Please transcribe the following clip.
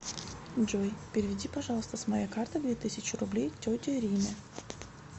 джой переведи пожалуйста с моей карты две тысячи рублей тете риме